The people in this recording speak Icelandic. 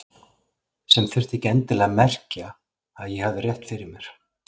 Sem þurfti ekki endilega að merkja að ég hefði rétt fyrir mér.